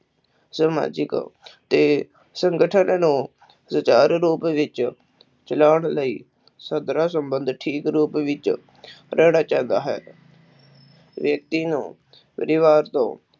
ਸਮਾਜਿਕ ਦੇ ਸੰਗਠਨ ਨੂੰ ਸੁਚਾਰੂ ਰੂਪ ਵਿਚ ਚਲਾਉਣ ਲਈ ਸਧਰਾ ਸੰਬੰਧ ਠੀਕ ਰੂਪ ਵਿਚ ਚਾਹੰਦਾ ਹੈ ਵਿਅਕਤੀ ਨੂੰ ਪਰਿਵਾਰ ਤੋਂ